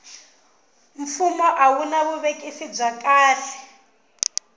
fumo a a wuna vuvekisi bya kahle